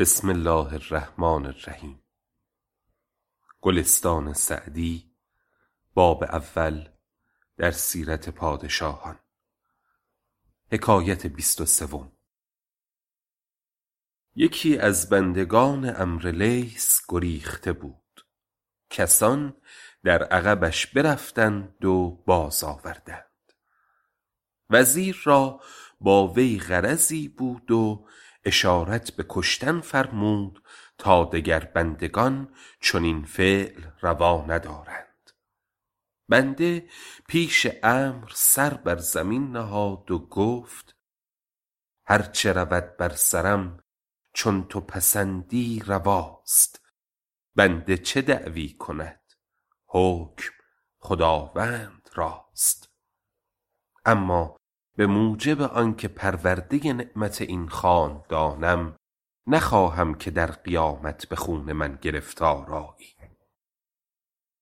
یکی از بندگان عمرو لیث گریخته بود کسان در عقبش برفتند و باز آوردند وزیر را با وی غرضی بود و اشارت به کشتن فرمود تا دگر بندگان چنین فعل روا ندارند بنده پیش عمرو سر بر زمین نهاد و گفت هر چه رود بر سرم چون تو پسندی رواست بنده چه دعوی کند حکم خداوند راست اما به موجب آن که پرورده نعمت این خاندانم نخواهم که در قیامت به خون من گرفتار آیی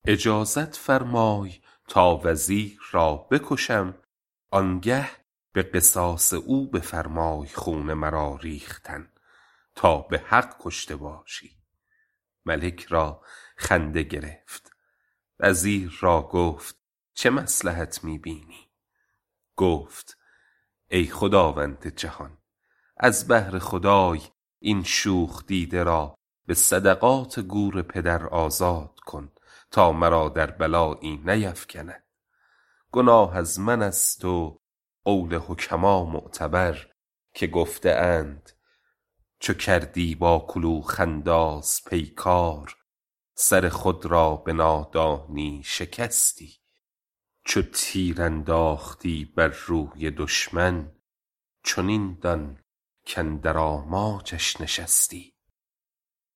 اجازت فرمای تا وزیر را بکشم آن گه به قصاص او بفرمای خون مرا ریختن تا به حق کشته باشی ملک را خنده گرفت وزیر را گفت چه مصلحت می بینی گفت ای خداوند جهان از بهر خدای این شوخ دیده را به صدقات گور پدر آزاد کن تا مرا در بلایی نیفکند گناه از من است و قول حکما معتبر که گفته اند چو کردی با کلوخ انداز پیکار سر خود را به نادانی شکستی چو تیر انداختی بر روی دشمن چنین دان کاندر آماجش نشستی